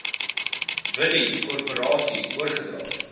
village korporasie oorgedra